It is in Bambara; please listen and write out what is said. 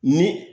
Ni